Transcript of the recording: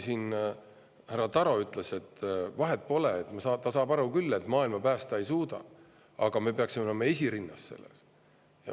Härra Taro ütles, et vahet pole, ta saab aru küll, et maailma päästa me ei suuda, aga me peaksime olema selles asjas esirinnas.